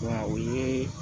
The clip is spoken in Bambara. Wa o ye